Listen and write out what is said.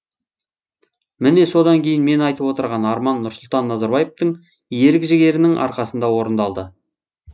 міне содан кейін мен айтып отырған арман нұрсұлтан назарбаевтың ерік жігерінің арқасында орындалды